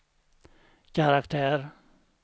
karaktär